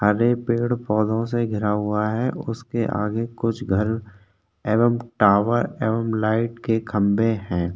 आगे पेड़ पोधो से घेरा हुआ है उसके आगे कुछ घर एवम टावर एवम लाइट के खम्बे है।